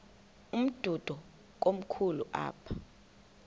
umdudo komkhulu apha